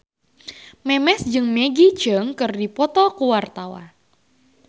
Memes jeung Maggie Cheung keur dipoto ku wartawan